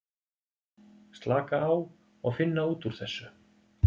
Slaka á og finna út úr þessu.